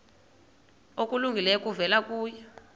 okulungileyo kuvela kuye